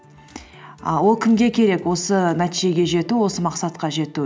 і ол кімге керек осы нәтижеге жету осы мақсатқа жету